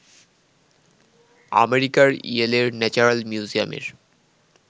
আমেরিকার ইয়েলের ন্যাচারাল মিউজিয়ামের